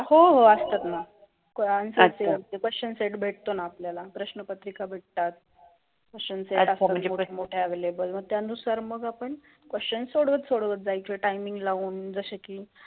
हो ओ असतात ना. असता क्वास्चन सेट बेटतोना आपल्याला, परशन पत्रिका बेटतात. मग तय अनुसार परक्षण सोडत सोडत जायच टईमींग लावून.